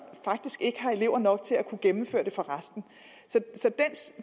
faktisk ikke har elever nok til at kunne gennemføre det for resten så den